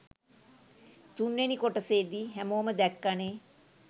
තුන්වෙනි කොටසෙදී හැමෝම දැක්කනේ